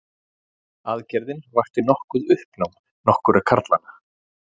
Aðgerðin vakti nokkuð uppnám nokkurra karlanna